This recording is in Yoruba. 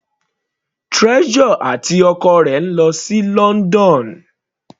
Treasure àti ọkọ rẹ̀ lọ sí London.